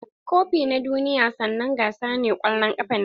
Kofi na duniya sannanen gasa na kwallon kafa ne.